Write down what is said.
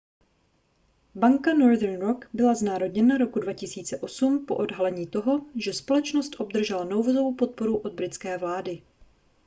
banka northern rock byla znárodněna roku 2008 po odhalení toho že společnost obdržela nouzovou podporu od britské vlády